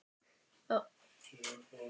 Í hvaða skóm ert þú, Magga?